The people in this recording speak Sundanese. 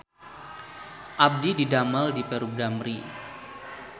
Abdi didamel di Perum Damri